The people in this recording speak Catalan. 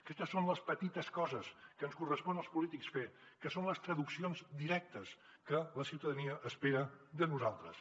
aquestes són les petites coses que ens correspon als polítics fer que són les traduccions directes que la ciutadania espera de nosaltres